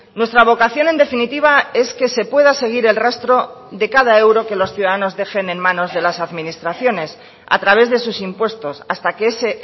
nuestra vocación en definitiva es que se pueda seguir el rastro de cada euro que los ciudadanos dejen en manos de las administraciones a través de sus impuestos hasta que ese